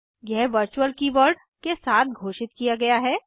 यह virtual keyword के साथ घोषित किया गया है